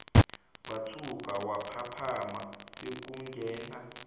wathuka waphaphama sekungena